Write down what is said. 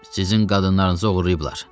Sizin qadınlarınızı oğurlayıblar.